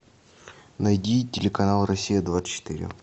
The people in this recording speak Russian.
найди телеканал россия двадцать четыре